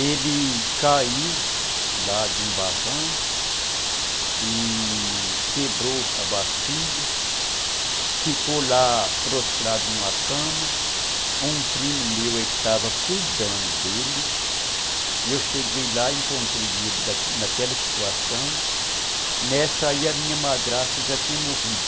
Ele caiu lá de um barranco e... quebrou a bacia, ficou lá prostrado numa cama, um primo meu que estava cuidando dele, eu cheguei lá e encontrei ele naquela naquela situação, nessa aí a minha madrasta já tinha morrido.